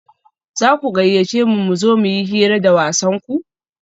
za ku gayyace mu mu zo mu yi hira da wasanku?